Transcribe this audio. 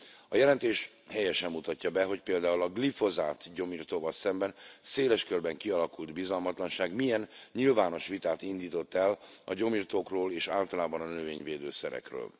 A jelentés helyesen mutatja be, hogy például a glifozát gyomirtóval szemben széles körben kialakult bizalmatlanság milyen nyilvános vitát indított el a gyomirtókról, és általában a növényvédő szerekről.